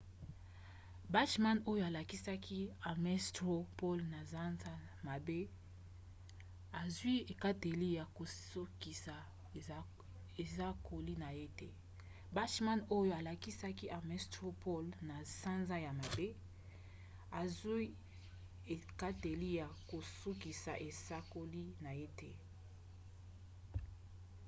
bachmann oyo alongaki ames straw poll na sanza ya mwambe azwi ekateli ya kosukisa esakoli na ye